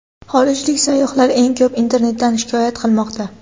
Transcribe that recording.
Xorijlik sayyohlar eng ko‘p internetdan shikoyat qilmoqda.